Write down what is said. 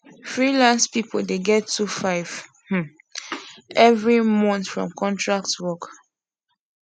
freelance people dey get two five um every month from contract work